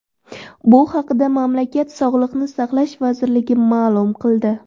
Bu haqda mamlakat Sog‘liqni saqlash vazirligi ma’lum qildi .